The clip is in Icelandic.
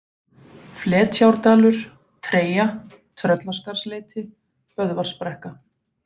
Fletjárdalur, Treyja, Tröllaskarðsleiti, Böðvarsbrekka